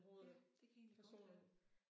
Ja det kan egentlig godt være